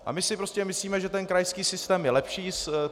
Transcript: A my si prostě myslíme, že ten krajský systém je lepší.